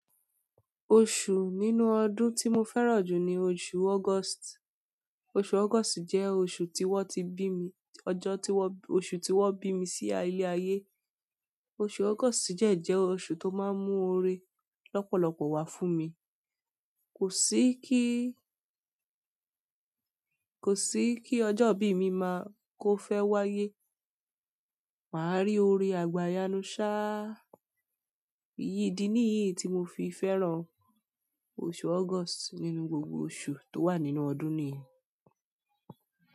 Oṣù nínú ọdún tí mo fẹ́ràn jù ni oṣù August. Oṣù August jẹ́ oṣù tí wọ́n ti bí mi, ọjọ́ tí wọ́n, oṣù tí wọ́n bí mi sí ayé ayé. Oṣù August dẹ̀ jẹ́ oṣù tó máa ń mú òòrè lọ́pọ̀lọpọ̀ wá fún mi. Kò sí kí ọjọ́ bí mi máa kó fẹ́ wáyé, mà á rí òòre àgbà yanu ṣá. Iyì ìdí nìyìí tí mo fi fẹ́ràn òṣù August nínú gbògbò òṣù tó wà nínú ọdún niyẹn.